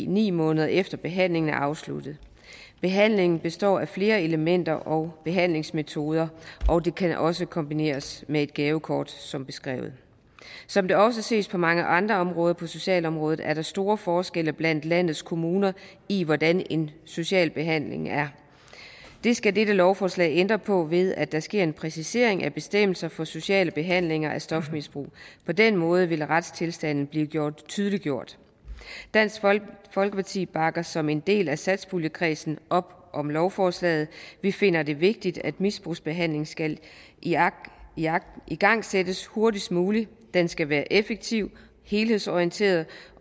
ni måneder efter at behandlingen er afsluttet behandlingen består af flere elementer og behandlingsmetoder og det kan også kombineres med et gavekort som beskrevet som det også ses på mange andre områder på socialområdet er der store forskelle blandt landets kommuner i hvordan en social behandling er det skal dette lovforslag ændre på ved at der sker en præcisering af bestemmelser for sociale behandlinger af stofmisbrug på den måde vil retstilstanden blive tydeliggjort dansk folkeparti bakker som en del af satspuljekredsen op om lovforslaget vi finder det vigtigt at misbrugsbehandlingen skal igangsættes hurtigst muligt den skal være effektiv helhedsorienteret